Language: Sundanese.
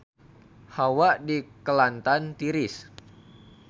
Hawa di Kelantan tiris